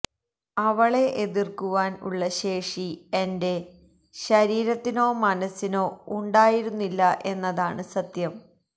അവളെ എതിർക്കുവാൻ ഉള്ള ശേഷി എൻറെ ശരീരത്തിനോ മനസ്സിനോ ഉണ്ടായിരുന്നില്ല എന്നതാണ് സത്യം